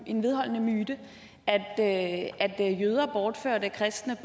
en vedholdende myte at at jøder bortførte kristne